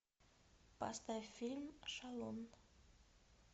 поставь фильм шалун